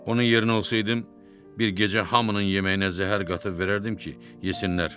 Onun yerinə olsaydım, bir gecə hamının yeməyinə zəhər qatıb verərdim ki, yesinlər.